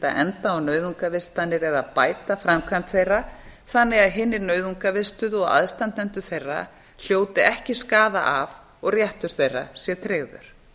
enda á nauðungarvistanir eða bæta framkvæmd þeirra þannig að hinir nauðungarvistuðu og aðstandendur þeirra hljóti ekki skaða af og réttur þeirra sé tryggður